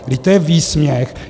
Vždyť to je výsměch.